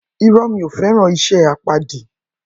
Irõ, mi o feran ise apadi